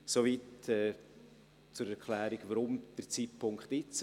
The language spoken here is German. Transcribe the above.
Soweit die Erklärung, warum dieser Zeitpunkt, warum jetzt.